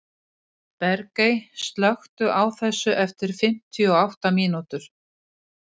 Bergey, slökktu á þessu eftir fimmtíu og átta mínútur.